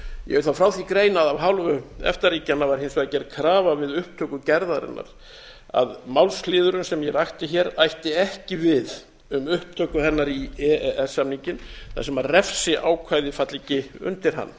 ég vil þá frá því greina að af hálfu efta ríkjanna var hins vegar gerð krafa við upptöku gerðarinnar að málsliðurinn sem ég rakti hér ætti ekki við um upptöku hennar í e e s samninginn þar sem refsiákvæði falli ekki undir hann